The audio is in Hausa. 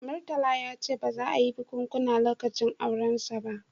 Murtala ya ce ba za a yi bikunkuna lokacin aurensa ba